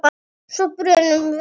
Svo brunum við af stað.